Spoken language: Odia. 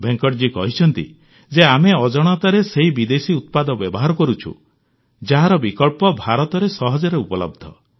ଭେଙ୍କଟଜୀ କହିଛନ୍ତି ଯେ ଆମେ ଅଜାଣତରେ ସେହି ବିଦେଶୀ ଉତ୍ପାଦ ବ୍ୟବହାର କରୁଛୁ ଯାହାର ବିକଳ୍ପ ଭାରତରେ ସହଜରେ ଉପଲବ୍ଧ